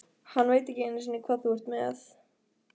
Hann veit ekki einu sinni hvað þú ert með.